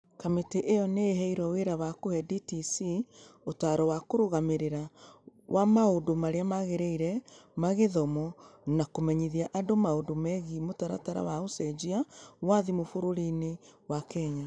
Kamiti ĩyo nĩ ĩheirwo wĩra wa kũhe DTC ũtaaro wa kĩrũgamĩrĩri wa maũndũ marĩa magĩrĩire ma gĩthomo na kũmenyithia andũ maũndũ megiĩ mũtaratara wa ũcenjia wa thimũ bũrũriinĩ wa Kenya.